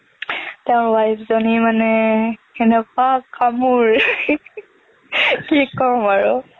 তেওঁৰ wife জনী মানে কেনেকুৱা কামোৰ কি কম আৰু